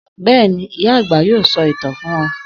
Bẹ́ẹ̀ni, ìyá-àgbà yóò sọ ìtàn fún wa.